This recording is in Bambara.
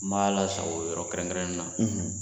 N b'a lasago yɔrɔ kɛrɛn kɛrɛnni na.